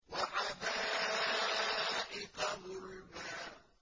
وَحَدَائِقَ غُلْبًا